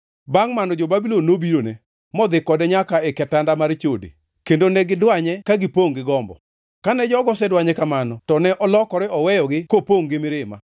Bangʼ mano jo-Babulon nobirone, modhi kode nyaka e kitanda mar chode, kendo ne gidwanye ka gipongʼ gi gombo. Kane jogo osedwanye kamano to ne olokore oweyogi kopongʼ gi mirima.